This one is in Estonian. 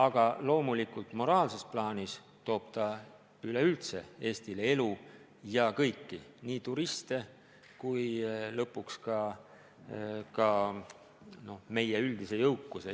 Aga loomulikult moraalses plaanis toob see üleüldse Eestisse elu juurde, toob meile ka turiste ja lõpuks tagab meie üldise jõukuse.